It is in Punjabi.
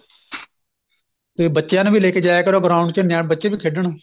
ਤੇ ਬਬੱਚਿਆਂ ਨੂੰ ਵੀ ਲੈ ਕੇ ਜਾਇਆ ਕਰੋ ground ਚ ਬੱਚੇ ਵੀ ਖੇਡਣ